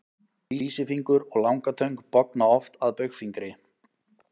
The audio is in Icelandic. Vísifingur og langatöng bogna oft að baugfingri.